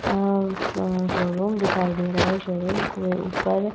आम् शों-शोरूम दिखाई दे रहा है। शोरूम के-ए ऊपर --